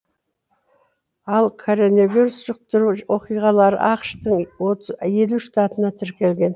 ал коронавирус жұқтыру оқиғалары ақш тың елу штатында тіркелген